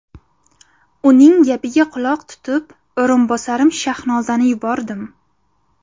Uning gapiga quloq tutib, o‘rinbosarim Shahnozani yubordim.